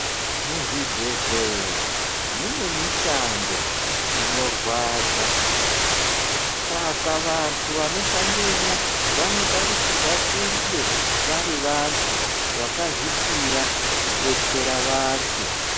Muzvibhedhleya munemishando inorwadza. Saka vantu vanoshandemwo vanotarisirwa kunge vari vantu vakazvipira kubetsera vantu.